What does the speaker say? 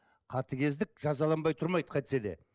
қатыгездік жазаланбай тұрмайды қайтсе де